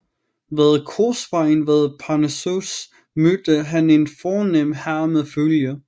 Ved korsvejen ved Parnassos mødte han en fornem herre med følge